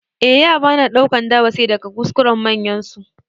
Eh, yara na ɗaukan darasi daga kuskuren manyansu.